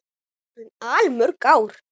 Þetta eru orðin allmörg ár.